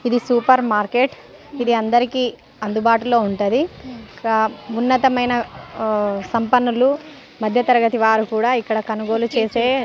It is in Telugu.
ఇది సూపర్ మార్కెట్ ఇది అందరికీ అందుబాటులో ఉంటది ఉన్నతమైన సంపన్నులు మధ్యతరగతి వారు కూడా ఇక్కడ కొనుగోలు చేసే